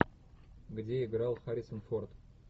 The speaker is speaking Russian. где играл харрисон форд